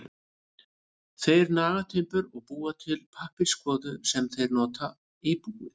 Þeir naga timbur og búa til pappírskvoðu sem þeir nota í búið.